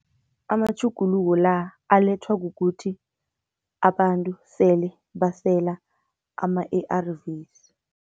Amatjhuguluko la alethwa kukuthi abantu sele basela ama-A_R_Vs.